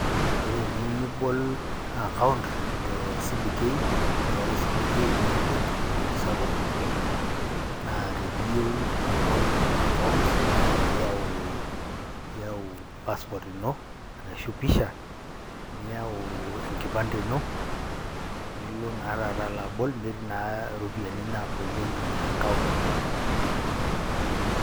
Ore eniyiu nibol account te CBK, aa ore cbk nee embenki sapuk naa teniyeu nibol account naa iyau iyau passport ino arashu pisha, niyau enkipande ino, nilo naa taata alo abol netii naa iropiani naabolieki account.